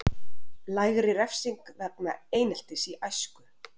Lægri refsing vegna eineltis í æsku